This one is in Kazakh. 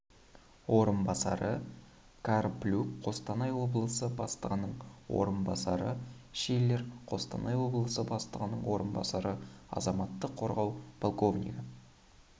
орынбасары карплюк қостанай облысы бастығының орынбасары шиллер қостанай облысы бастығының орынбасары азаматтық қорғау полковнигі